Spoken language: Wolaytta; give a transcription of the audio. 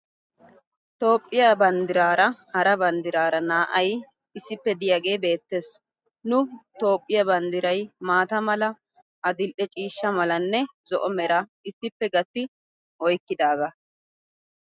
Tophphiya banddiraara Hara banddiraara naa"ay issippe diyaagee beettes. Nu toophphiya banddiray maata mala,a adil'e ciishsha malanne zo'o meraa issippe gatti oyikkidaagaa.